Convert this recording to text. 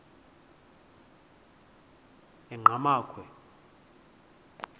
enqgamakhwe